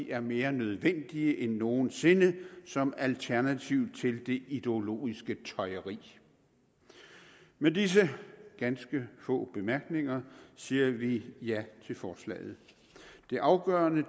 er mere nødvendige end nogen sinde som alternativ til det ideologiske tøjeri med disse ganske få bemærkninger siger vi ja til forslaget det afgørende